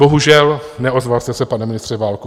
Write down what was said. Bohužel, neozval jste se, pane ministře Válku.